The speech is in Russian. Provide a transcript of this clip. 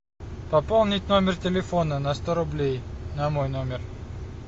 пополнить номер телефона на сто рублей на мой номер